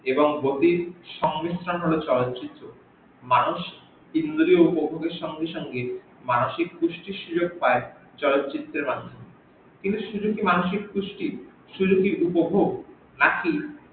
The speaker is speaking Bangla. এবং গতির সংমৃসণ হল চলচিত্র মানুষ দিন দিন উপভগের সঙ্গে সঙ্গে মানুষের কুস্তির সুযোগ পাই সুত্রপাত চলচিত্রের মাধ্য কিন্তু শুধু কি মানুষিক সুস্থির সুযোগ পাই চলচিত্রের মাধ্যমে, শুধু কি উপভগ